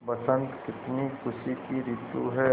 बसंत कितनी खुशी की रितु है